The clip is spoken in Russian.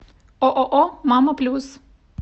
ооо мама плюс